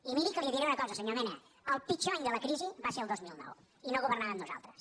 i miri que li diré una cosa senyor mena el pitjor any de la crisi va ser el dos mil nou i no governàvem nosaltres